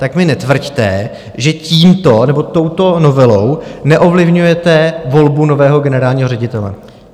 Tak mi netvrďte, že tímto nebo touto novelou neovlivňujete volbu nového generálního ředitele.